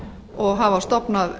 og hafa stofnað